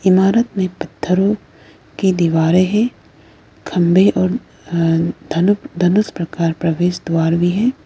ईमारत में पत्थरों की दीवारें हैं खंभे और अ धनु धनुष प्रकार प्रवेश द्वार भी है।